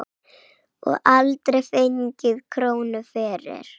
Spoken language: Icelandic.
Og aldrei fengið krónu fyrir.